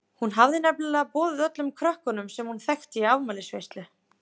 Hún hafði nefnilega boðið öllum krökkum sem hún þekkti í afmælisveislu.